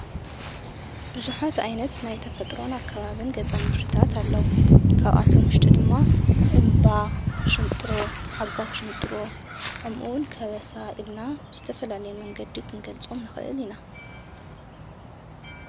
ቡዙሓት ዓይነት ናይ ተፈጥሮና ከባብን ገጸ ምድርታት ኣለዉ ።ካብኣቶ ሙሽጢ ድማ እምባ፣ ሽንጥሮ ፣ሓጓፍ ሽንጥሮ፣ ከምኡ'ውን ከበሳ ኢልና ብዝተፈላለየ መንገዲ ኽንገልጾም ንኽእል ኢና።